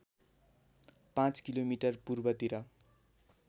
पाँच किलोमिटर पूर्वतिर